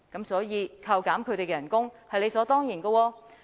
所以，扣減他們的薪酬是理所當然的。